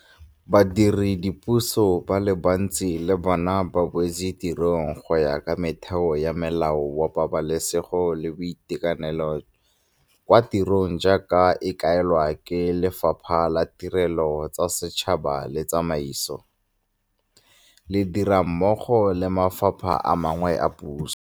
Badiredipuso ba le bantsi le bona ba boetse tirong go ya ka metheo ya Molao wa Pabalesego le Boitekanelo kwa Tirong jaaka e kaelwa ke Lefapha la Tirelo tsa Setšhaba le Tsamaiso, le dira mmogo le mafapha a mangwe a puso.